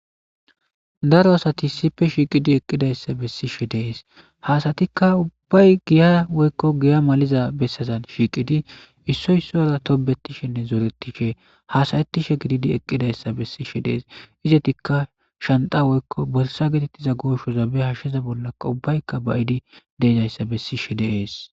Naro asati sipe shiiqidi eqqidayssa bessishe dees hasatikka ubbay giya woykko giya maliza bessazan shiiqidi issoysora tobetishenne zooretishe haasayettishe gididi eqqidayssa bessishe dees izetikka shanta woykko bolsa getettiza gooshozabe hashsheza bollaka ubbaykka bayidi deedayssa bessishe deees.